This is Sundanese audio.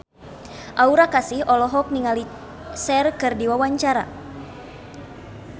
Aura Kasih olohok ningali Cher keur diwawancara